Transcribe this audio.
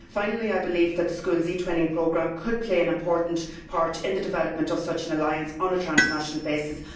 Finally, I believe that the schools eTwinning programme could play an important part in the development of such an alliance on a transnational basis.